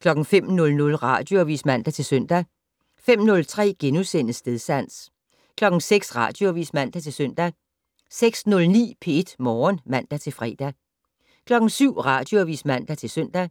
05:00: Radioavis (man-søn) 05:03: Stedsans * 06:00: Radioavis (man-søn) 06:09: P1 Morgen (man-fre) 07:00: Radioavis (man-søn)